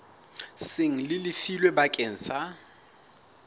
seng le lefilwe bakeng sa